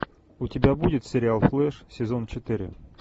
у тебя будет сериал флеш сезон четыре